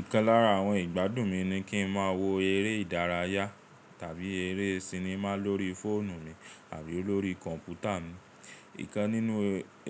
Ìkan lára àwọn ìgbádùn mi ni kí n má wo eré ìdárayá tàbí eré sinimá lórí fóònù mi àbí lórí kọ̀npútà mi. Ìkan nínú